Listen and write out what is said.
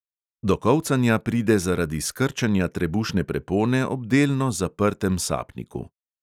Do kolcanja pride zaradi skrčenja trebušne prepone ob delno zaprtem sapniku.